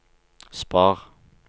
spar